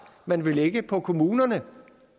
man vil lægge på kommunerne